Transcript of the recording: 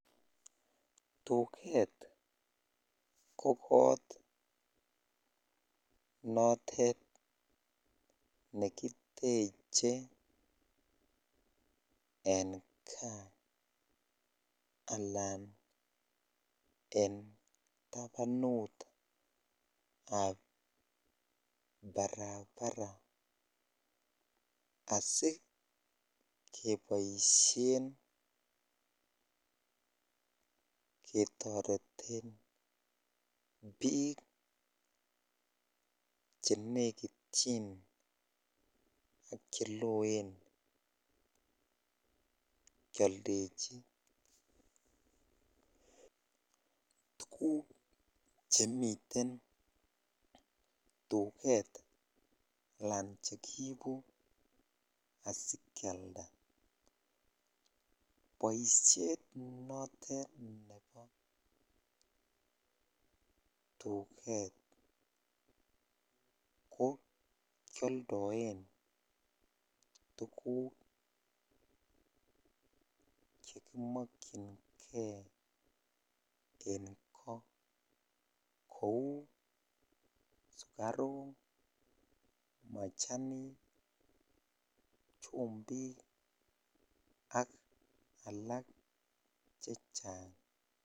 Tuket ko koot notet nekiteche en kaa alaan en tabanutab barabara asikeboishen ketoreten biik chenekityin ak cheloen kioldechi tukuk chemiten tuket alaan chekiibu asikialda, boishet notet nebo tuket ko kioldoen tukuk chekimokyinge en koo kouu sukaruk, machanik, chumbi k ak alak chechang.